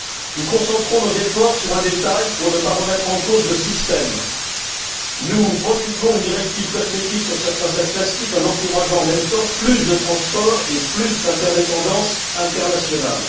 Nous concentrons nos efforts sur un détail pour ne pas remettre en cause le système, nous promulguons une directive cosmétique sur certains sacs en plastique, en encourageant en même temps plus de transports et plus d'interdépendances internationales.